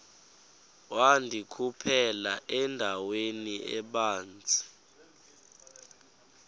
wandikhuphela endaweni ebanzi